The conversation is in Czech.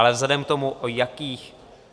Ale vzhledem k tomu, o jakých...